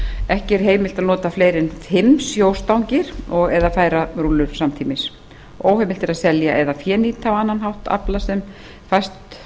ekki er heimilt að nota fleiri en fimm sjóstangir og eða færarúllur samtímis óheimilt er að selja eða fénýta á annan hátt afla sem fæst